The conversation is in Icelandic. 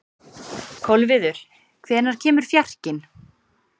Kolviður, hvenær kemur fjarkinn?